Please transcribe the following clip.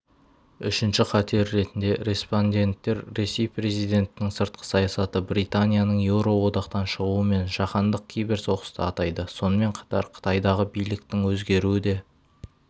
үшінші қатер ретінде респонденттер ресей президентінің сыртқы саясаты британияның еуроодақтан шығуы мен жаһандық киберсоғысты атайды сонымен қатар қытайдағы биліктің өзгеруі де